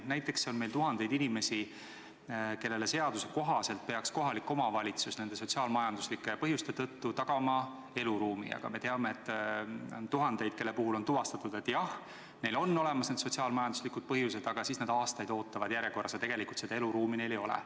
Näiteks on meil tuhandeid inimesi, kellele kohalik omavalitsus peaks seaduse kohaselt teatavatel sotsiaalmajanduslikel põhjustel tagama eluruumi, aga me teame, et on tuhandeid, kelle puhul on küll tuvastatud, et jah, need sotsiaalmajanduslikud põhjused on olemas, aga sellest hoolimata ootavad nad aastaid eluruumi saajate järjekorras ja tegelikult neil seda eluruumi ei ole.